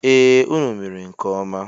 E, unu mere nke ọma.